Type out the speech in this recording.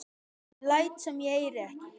Ég læt sem ég heyri ekki.